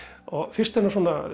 fyrst er